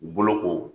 Boloko